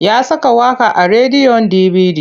Ya saka waƙa a rediyon dibidi.